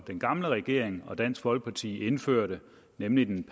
den gamle regering og dansk folkeparti indførte nemlig den